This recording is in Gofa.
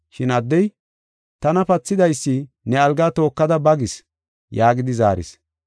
Shin addey, “Tana pathidaysi, ne algaa tookada ba gis” yaagidi zaaris.